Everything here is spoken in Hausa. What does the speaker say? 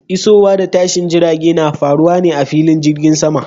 Isowa da tashin jirage na faruwa a filin jirgin sama.